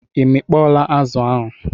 I mikpọọla azụ ahụ.